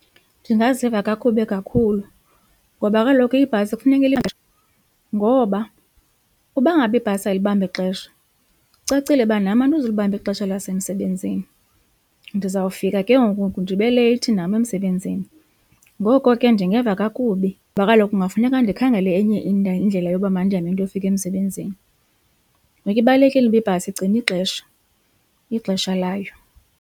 Ndingaziva kakubi kakhulu ngoba kaloku ibhasi kufuneka ngoba uba ngaba ibhasi ayilibambi ixesha kucacile uba nam andizulibamba ixesha lasemsebenzini ndizawufika ke ngoku ndibe leyithi nam emsebenzini ngoko ke ndingeva kakubi kuba kaloku kungafuneka ndikhangele enye indlela yoba mandihambe ndiyofika emsebenzini. Ngoku ibalulekile uba ibhasi igcine ixesha, ixesha layo.